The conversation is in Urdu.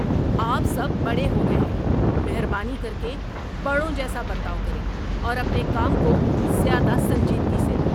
آپ سب بڑے ہو گئے ہیں! مہربانی کر کے بڑوں جیسا برتاؤ کریں اور اپنے کام کو زیادہ سنجیدگی سے لیں۔